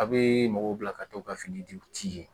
A bɛ mɔgɔw bila ka t'o ka fini di u ti